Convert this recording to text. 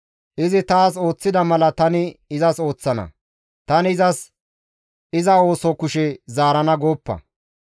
Izi taas ooththida mala tani izas ooththana; «Tani izas iza ooso kushe zaarana» gooppa.